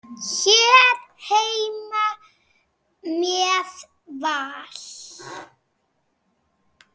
Hér heima með Val.